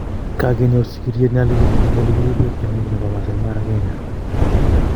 Kagenyor sigiriet ne albino eng ole kirepee tiongik nebo Maasai Mara Kenya